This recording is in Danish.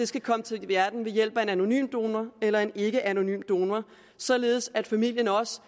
skal komme til verden ved hjælp af en anonym donor eller en ikkeanonym donor således at familien også